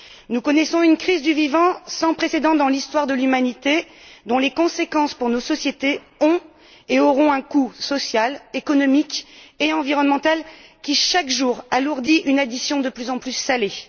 Nous connaissons une crise du vivant sans précédent dans l'histoire de l'humanité dont les conséquences pour nos sociétés ont et auront un coût social, économique et environnemental qui, chaque jour, rend l'addition de plus en plus salée.